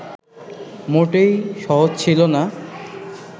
মোটেই সহজ ছিল না